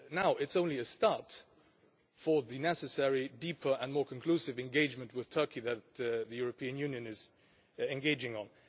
it's only a start for the necessary deeper and more conclusive engagement with Turkey that the European Union is engaging in.